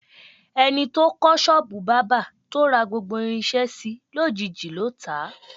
E̩ni tó kó̩ s̩ó̩ò̩bù bábà, tó ra gbogbo irins̩é̩ si, lójiijì ló tà á.